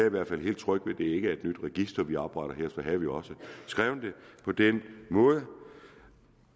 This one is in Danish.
i hvert fald helt tryg ved at det ikke er et nyt register vi opretter her så havde vi også skrevet det på den måde